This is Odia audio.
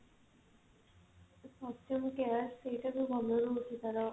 fortune care ସେଇଟା ବି ଭଲ ରହୁଛି ତାର